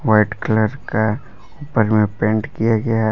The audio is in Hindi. व्हाइट कलर का ऊपर में पेंट किया गया--